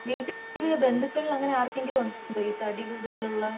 വീട്ടിൽ ഈ ബന്ധുക്കൾ അങ്ങനെ ആര്കെങ്കില്ജകും ഉണ്ടോ ഈ തടി കൂടുതൽ ഉള്ള